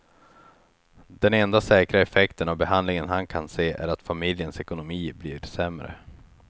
Den enda säkra effekten av behandlingen han kan se är att familjens ekonomi blir sämre.